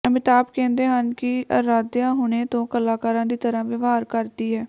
ਅਮਿਤਾਭ ਕਹਿੰਦੇ ਹਨ ਕਿ ਆਰਾਧਿਆ ਹੁਣੇ ਤੋਂ ਕਲਾਕਾਰਾਂ ਦੀ ਤਰ੍ਹਾਂ ਵਿਵਹਾਰ ਕਰਦੀ ਹੈ